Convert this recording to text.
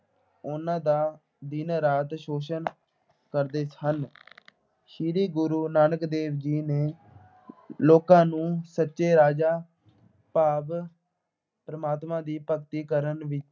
ਉਨ੍ਹਾਂ ਦਾ ਦਿਨ-ਰਾਤ ਸ਼ੋਸ਼ਣ ਕਰਦੇ ਹਨ। ਸ੍ਰੀ ਗੁਰੂ ਨਾਨਕ ਦੇਵ ਜੀ ਨੇ ਲੋਕਾਂ ਨੂੰ ਸੱਚੇ ਭਾਵ ਪਰਮਾਤਮਾ ਦੀ ਭਗਤੀ ਕਰਨ ਵਿੱਚ